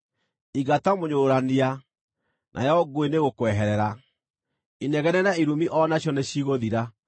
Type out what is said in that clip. Ingata mũnyũrũrania, nayo ngũĩ nĩĩgũkweherera; inegene na irumi o nacio nĩcigũthira.